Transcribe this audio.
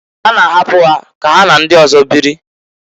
Ha na-ahapụ ka ha na ndị ọzọ biri.